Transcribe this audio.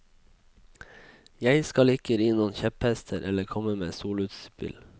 Jeg skal ikke ri noen kjepphester eller komme med soloutspill.